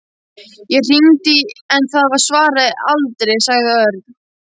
Ég hringdi en það svaraði aldrei. sagði Örn.